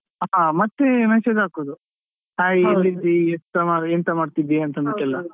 ಹಾ ಮತ್ತೆ message ಹಾಕೋದು hai ಎಲ್ಲಿದ್ದಿ ಎಂತ ಮಾಡ್ತಿದ್ದಿ ಅಂತ ಅಂದುಬಿಟ್ಟು ಎಲ್ಲ.